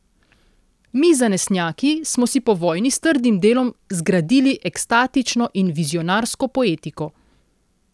Mi zanesenjaki smo si po vojni s trdim delom zgradili ekstatično in vizionarsko poetiko.